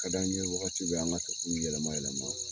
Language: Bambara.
Ka d'an ye waati bɛ, an ga to k'u yɛlɛma yɛlɛma.